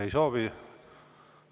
Ei soovi.